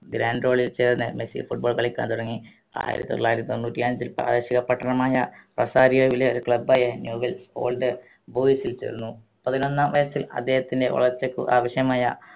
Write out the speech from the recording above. granton ൽ ചേർന്ന് Messi football കളിയ്ക്കാൻ തുടങ്ങി ആയിരത്തി തൊള്ളായിരത്തി തൊണ്ണൂറ്റി അഞ്ചിൽ പ്രാദേശിക പട്ടണമായ റൊസാരിയോലെ ഒരു club ആയ new wells old boys ൽ ചേർന്നു പതിനൊന്നാം വയസ്സിൽ അദ്ദേഹത്തിൻറെ വളർച്ചക്കു ആവിശ്യമായ